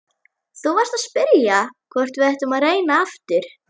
Þú varst að spyrja hvort við ættum að reyna aftur.